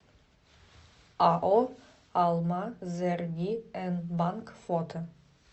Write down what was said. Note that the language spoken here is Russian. ао алмазэргиэнбанк фото